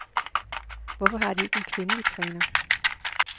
Hvorfor har de ikke en kvindelig træner?